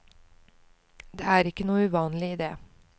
Det er ikke noe uvanlig i det.